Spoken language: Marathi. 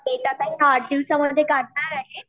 डेट आता आठ दिवसामध्ये काढणार आहेत.